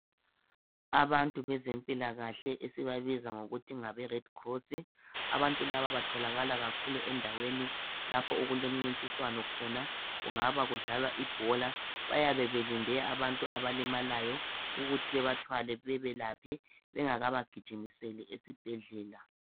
Abantu bezempilakahle. Esibabiza ngokuthi ngabeRedcross. Abantu laba batholakala kakhulu, endaweni lapho okulomncintiswana khona. Kungaba kudlalwa ibhola. Bayabe belinde abantu abalimalayo. Ukuthi bebathwale, bebelaphe. Bengakabagijimiseli esibhedlela.